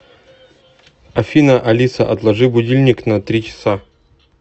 афина алиса отложи будильник на три часа